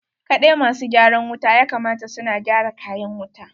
Kaɗai ma su gyaran wuta ya kamata su na gyara kayan wuta.